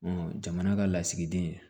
jamana ka lasigiden